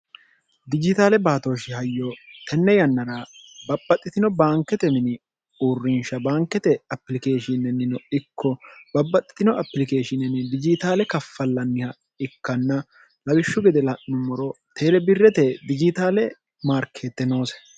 dijitaale baatooshi hayyo tenne yannara babpaxxitino baankete mini uurrinsha baankete apilikeeshinnennino ikko babbaxxitino apilikeeshibijitaale kaffallanniha ikkanna lagishshu gede la'nummoro teerebirrete dijitaale maarkeette noose